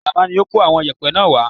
Alaba ni ó kó àwọn yẹ̀pẹ́ náà wá